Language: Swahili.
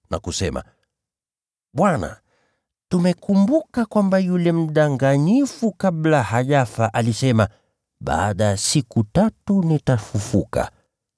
na kusema, “Bwana, tumekumbuka kwamba yule mdanganyifu wakati alikuwa bado hai alisema, ‘Baada ya siku tatu nitafufuka.’